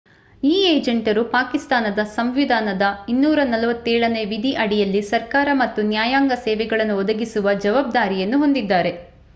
ಈ ಏಜೆಂಟರು ಪಾಕಿಸ್ತಾನದ ಸಂವಿಧಾನದ 247ನೇ ವಿಧಿ ಅಡಿಯಲ್ಲಿ ಸರ್ಕಾರ ಮತ್ತು ನ್ಯಾಯಾಂಗ ಸೇವೆಗಳನ್ನು ಒದಗಿಸುವ ಜವಾಬ್ದಾರಿಯನ್ನು ಹೊಂದಿದ್ದಾರೆ